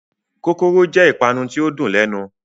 Kókóró jẹ ìpanu ti o n dùn lẹnu.